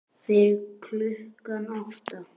Fyrir klukkan átta?